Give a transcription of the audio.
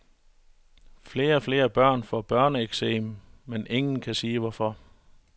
Flere og flere børn får børneeksem, men ingen kan sige hvorfor.